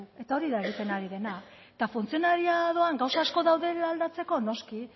eta hori da egiten ari dena eta funtzionariadoan gauza asko daudela aldatzeko noski